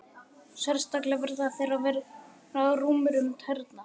Sérstaklega verða þeir að vera rúmir um tærnar.